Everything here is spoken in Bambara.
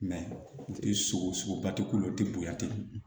sogoba ti kulo ti bonya ten